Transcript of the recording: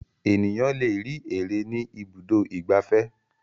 Ènìyàn le rí ère ní Ibùdó-ìgbafẹ́.